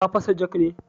Ta fashe jog ne?